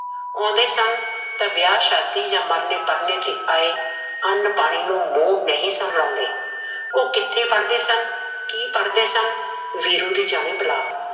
ਆਉਂਦੇ ਸਨ, ਤਾਂ ਵਿਆਹ ਸ਼ਾਦੀ ਜਾ ਮਰਨੇ ਪਰਨੇ ਤੇ ਆਏ ਅਨ ਪਾਣੀ ਨੂੰ ਮੂੰਹ ਨਹੀਂ ਸਨ ਲਾਉਂਦੇ, ਓਹ ਕਿੱਥੇ ਪੜਦੇ ਸਨ, ਕੀ ਪੜਦੇ ਸਨ, ਵੀਰੂ ਦੀ ਜਾਣੇ ਬਲਾਂ